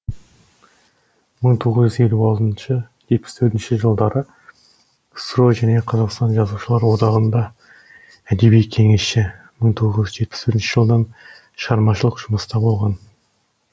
мың тоғыз жүз елу алтыншы жетпіс төртінші жылдары ксро және қазақстан жазушылар одағында әдеби кеңесші мың тоғыз жүз жетпіс бірінші жылдан шығармашылық жұмыста болған